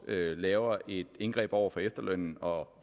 laver et indgreb over for efterlønnerne og